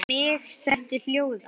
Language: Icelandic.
Mig setti hljóða.